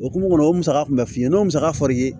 O kunumu o musaka kun bɛ f'i ye n'o musaka fɔr'i ye